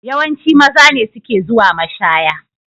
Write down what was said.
Yawanci maza ne suke zuwa mashaya.